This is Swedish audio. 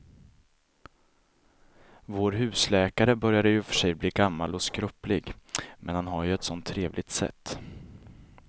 Vår husläkare börjar i och för sig bli gammal och skröplig, men han har ju ett sådant trevligt sätt!